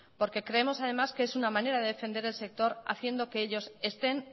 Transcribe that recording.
porque creemos además que es una manera de defender el sector haciendo que ellos estén